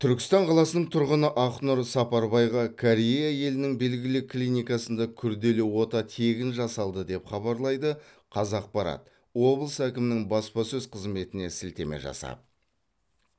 түркістан қаласының тұрғыны ақнұр сапарбайға корея елінің белгілі клиникасында күрделі ота тегін жасалды деп хабарлайды қазақпарат облыс әкімінің баспасөз қызметіне сілтеме жасап